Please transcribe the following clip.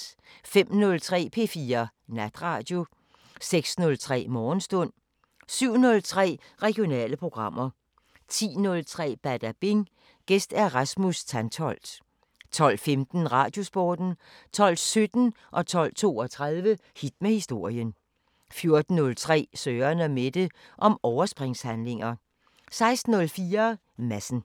05:03: P4 Natradio 06:03: Morgenstund 07:03: Regionale programmer 10:03: Badabing: Gæst Rasmus Tantholdt 12:15: Radiosporten 12:17: Hit med historien 12:32: Hit med historien 14:03: Søren & Mette: Om overspringshandlinger 16:04: Madsen